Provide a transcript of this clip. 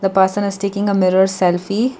person is taking a mirror selfie.